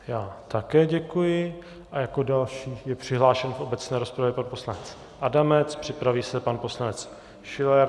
Já také děkuji a jako další je přihlášen v obecné rozpravě pan poslanec Adamec, připraví se pan poslanec Schiller.